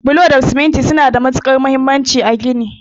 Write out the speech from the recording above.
Bulo da siminti suna da matukar muhimmanci a gini.